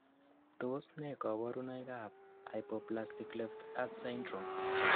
Tos nee koborunoikab Hypoplastic left heart syndrome?